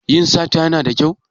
Yin sata Yana da kyau?